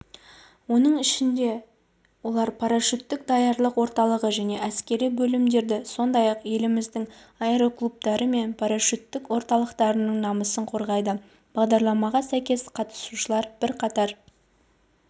оның ішінде олар парашюттік даярлық орталығы және әскери бөлімдері сондай-ақ еліміздің аэроклубтары мен парашюттік орталықтарының намысын қорғайды бағдарламаға сәйкес қатысушыларға бірқатар